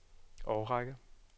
årrække